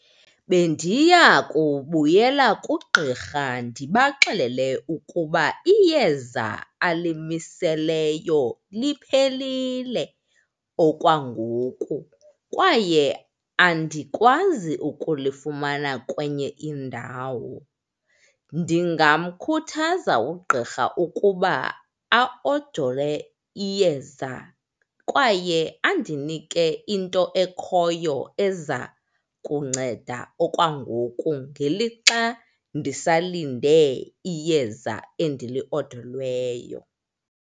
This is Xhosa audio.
Bendiya kubuyela kugqirha ndibaxelele ukuba iyeza alimiseleyo liphelile okwangoku, kwaye andikwazi ukulifumana kwenye indawo. Ndingamkhuthaza ugqirha ukuba aodole iyeza kwaye andinike into ekhoyo eza kunceda okwangoku ngelixa ndisalinde iyeza endiliodolweyo.